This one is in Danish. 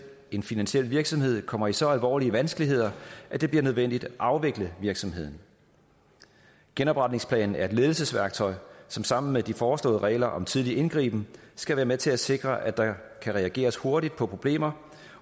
en finansiel virksomhed kommer i så alvorlige vanskeligheder at det bliver nødvendigt at afvikle virksomheden genopretningsplanen er et ledelsesværktøj som sammen med de foreslåede regler om tidlig indgriben skal være med til at sikre at der kan reageres hurtigt på problemer